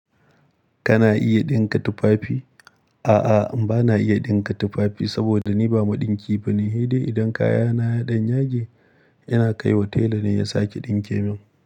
Kana iya ɗinka tufafi? A'a, bana iya ɗinka tufafi saboda ni ba maɗinki ba ne. Hedai idan kayana ya ɗan yage, ina kai wa tela ne ya sake ɗinke min.